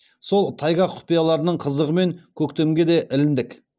сол тайга құпияларының қызығымен көктемге де іліндік